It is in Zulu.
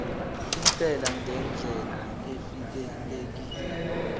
intela ngendlela evikelekile